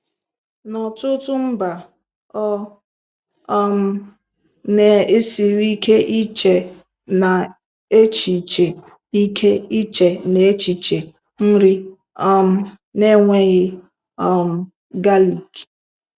N'ọtụtụ mba, ọ um na-esiri ike iche n'echiche ike iche n'echiche nri um na-enweghị um galik.